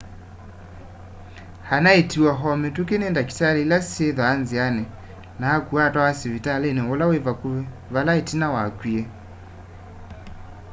anaiitiwe o kwa mituki ni ndakitali ila syithwaa nziani na akuwa atwawa sivitali ula wi vakuvi vala itina wakwie